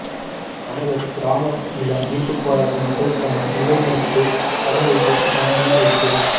கனகர் கிராம நில மீட்புப் போராட்ட மக்களுக்கான நிலவிரிப்புப் படங்குகள் வழங்கி வைப்பு